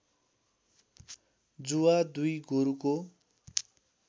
जुवा दुई गोरुको